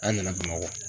An nana bamakɔ